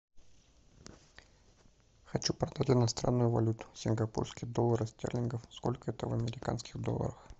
хочу продать иностранную валюту сингапурский доллар стерлингов сколько это в американских долларах